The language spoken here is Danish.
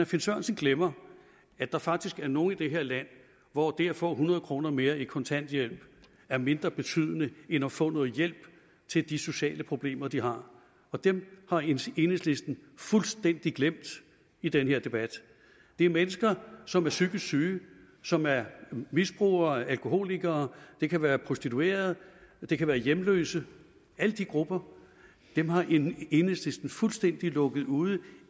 finn sørensen glemmer at der faktisk er nogle i det her land hvor det at få hundrede kroner mere i kontanthjælp er mindre betydende end at få noget hjælp til de sociale problemer de har dem har enhedslisten fuldstændig glemt i den her debat det er mennesker som er psykisk syge som er misbrugere alkoholikere det kan være prostituerede det kan være hjemløse alle de grupper har enhedslisten fuldstændig lukket ude